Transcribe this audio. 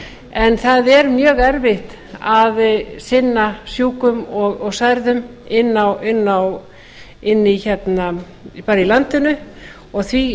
en það er mjög erfitt að sinna sjúkum og særðum þar í landinu og því vil